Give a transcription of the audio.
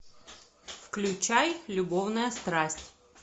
включай любовная страсть